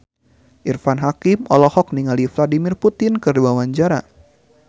Irfan Hakim olohok ningali Vladimir Putin keur diwawancara